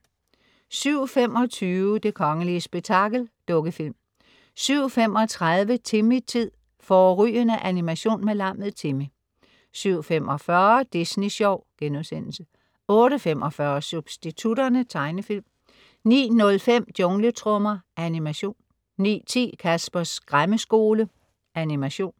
07.25 Det kongelige spektakel. Dukkefilm 07.35 Timmy-tid. Fårrygende animation med lammet Timmy 07.45 Disney sjov* 08.45 Substitutterne. Tegnefilm 09.05 Jungletrommer. Animation 09.10 Caspers Skræmmeskole. Animation